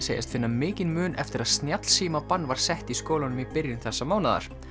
segjast finna mikinn mun eftir að var sett í skólanum í byrjun þessa mánaðar